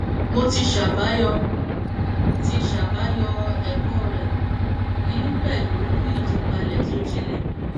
mo ti ṣàbàyọ ti ṣàbàyọ ẹkọ rẹ ní pẹlú ìtúpalẹ tó jinlẹ